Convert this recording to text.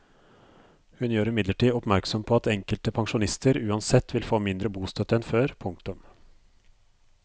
Hun gjør imidlertid oppmerksom på at enkelte pensjonister uansett vil få mindre bostøtte enn før. punktum